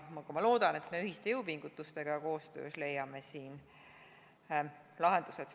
Ma loodan, et me ühiste jõupingutustega ja koostöös leiame siin lahendused.